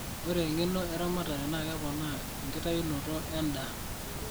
ore eng'eno erematare naa keponaa enkitayunoto en'daa